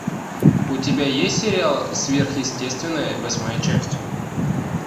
у тебя есть сериал сверхъестественное восьмая часть